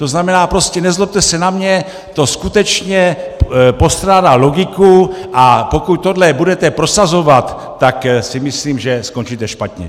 To znamená prostě, nezlobte se na mě, to skutečně postrádá logiku, a pokud tohle budete prosazovat, tak si myslím, že skončíte špatně.